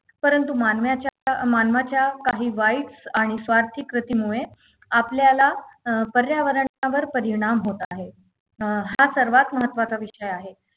परंतु मानवाच्या मानवाच्या काही वाईट आणि स्वार्थी कृतीमुळे आपल्याला अं पर्यावरण पर्यावरणावर परिणाम होत आहे अं हा सर्वात महत्त्वाचा विषय आहे